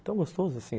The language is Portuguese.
É tão gostoso, assim